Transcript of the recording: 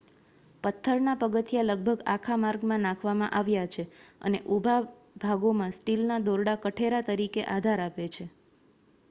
પથ્થર ના પગથિયાં લગભગ આખા માર્ગમાં નાખવામાં આવ્યા છે અને ઊભા ભાગોમાં સ્ટીલ ના દોરડા કઠેરા તરીકે આધાર આપે છે